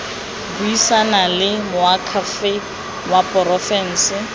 buisana le moakhaefe wa porofense